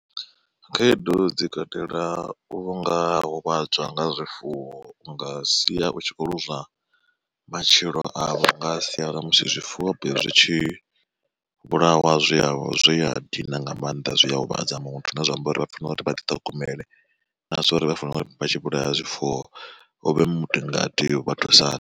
Khaedu dzi katela u nga huvhadzwa nga zwifuwo unga sia u tshi kho lozwa matshilo avho nga sia ḽa musi zwifuwo zwi tshi vhulawa zwia zwi a dina nga maanḓa zwi a huvhadza muthu. Zwine zwa amba uri vha funa uri vha ḓiṱhogomele na zwa uri vha fanela uri vha tshi vhulaya zwifuwo u vhe mutingati vha thusane.